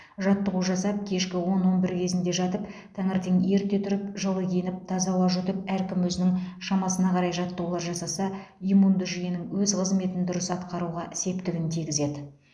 жаттығу жасап кешкі он он бір кезінде жатып таңертең ерте тұрып жылы киініп таза ауа жұтып әркім өзінің шамасына қарай жаттығулар жасаса иммунды жүйенің өз қызметін дұрыс атқаруға септігін тигізеді